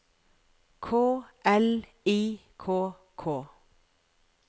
K L I K K